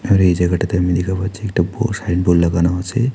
আর এই জায়গাটাতে আমি দেখা পাচ্ছি একটা বুয়ো সাইন বোর্ড লাগানো আছে।